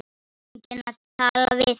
Enginn að tala við.